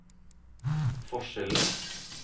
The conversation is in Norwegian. forskjellen